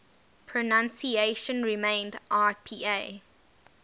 pronunciation remained ipa